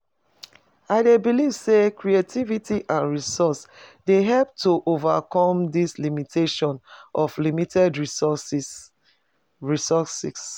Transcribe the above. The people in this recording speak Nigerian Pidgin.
I dey believe say creativity and resources dey help to overcome di limitations of limited resources resources